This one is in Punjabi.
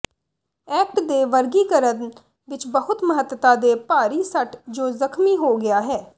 ਐਕਟ ਦੇ ਵਰਗੀਕਰਨ ਵਿਚ ਬਹੁਤ ਮਹੱਤਤਾ ਦੇ ਭਾਰੀ ਸੱਟ ਜੋ ਜ਼ਖਮੀ ਹੋ ਗਿਆ ਹੈ